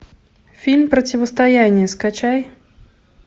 фильм противостояние скачай